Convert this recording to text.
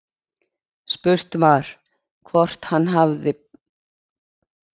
Spurt var, hvort hann hafi búið yfir einhverjum atvinnuleyndarmálum?